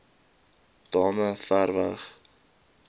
damme ver weg